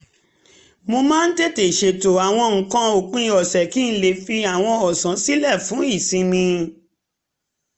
mo máa ń tètè ṣètò àwọn nǹkan ópin ọ̀sẹ̀ kí n lè fi àwọn ọ̀sán sílẹ̀ fún ìsinmi